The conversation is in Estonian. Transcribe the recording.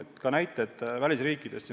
Selle kohta on näiteid välisriikidest.